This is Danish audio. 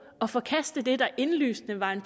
og forkaste det der indlysende var en